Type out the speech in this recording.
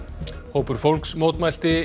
hópur fólks mótmælti